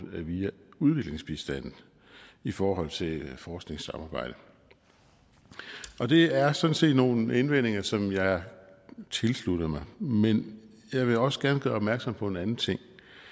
via udviklingsbistanden i forhold til forskningssamarbejdet det er sådan set nogle indvendinger som jeg tilslutter mig men jeg vil også gerne gøre opmærksom på en anden ting